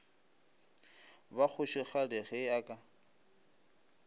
ba kgošigadi ge a ka